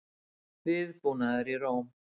Viðbúnaður í Róm